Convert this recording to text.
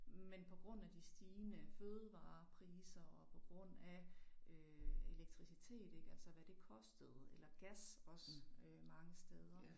Men på grund af de stigende fødevarepriser og på grund af øh elektricitet ik altså hvad det kostede eller gas også øh mange steder